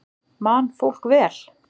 Man fólk vel?